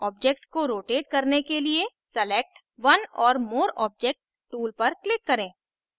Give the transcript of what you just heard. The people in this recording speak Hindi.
object को rotate करने के लिए select one or more objects tool पर click करें